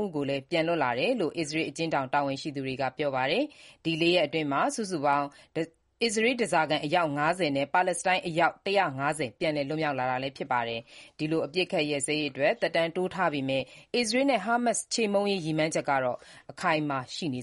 ၃ ဦးလည်း ပြန်လွတ်လာတယ်လို့ အစ္စရေး အကျဉ်းထောင်တာဝန်ရှိသူတွေက ပြောပါတယ်။ ဒီလေးရက်အတွင်း စုစုပေါင်း အစ္စရေး ဓားစာခံ အယောက် ၅၀ နဲ့ ပါလက်စတိုင်း အယောက် ၁၅၀ ပြန်လည် လွတ်မြောက်လာတာပါ။ ဒီလို အပစ်အခတ်ရပ်စဲရေးအတွက် သက်တမ်းထပ်တိုးထားပေးမဲ့ အစ္စရေးရဲ့ ဟာမတ်စ်ချေမှုန်းရေး ရည်မှန်းချက်ကတော့ အခိုင်အမာ ဆက်ရှိနေ